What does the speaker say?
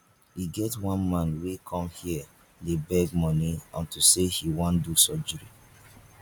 e get one man wey come here dey beg money unto say he wan do surgery